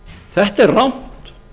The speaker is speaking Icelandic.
þetta er rangt